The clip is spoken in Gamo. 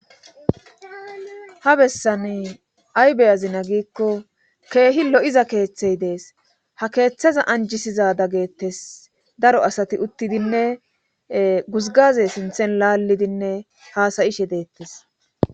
ha bessani ay beyazina giikko keehi lo7iza keeththey dees ha keeththeza anjisiza daggettes daro asati uttidinne guzgaze sinthen laallidinne haasayishe deettes